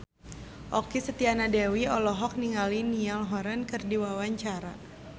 Okky Setiana Dewi olohok ningali Niall Horran keur diwawancara